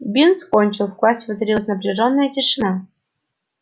бинс кончил в классе воцарилась напряжённая тишина